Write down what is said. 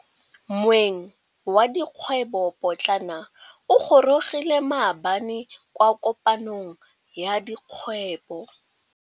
Moêng wa dikgwêbô pôtlana o gorogile maabane kwa kopanong ya dikgwêbô.